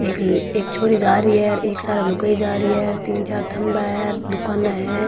एक छोरी जा रही है एक सारे लुगाई जा रही है तीन चार थम्बा है हेर दुकाना है।